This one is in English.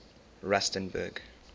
rustenburg